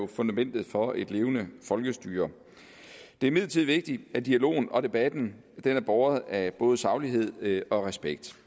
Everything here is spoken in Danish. fundamentet for et levende folkestyre det er imidlertid vigtigt at dialogen og debatten er båret af både saglighed og respekt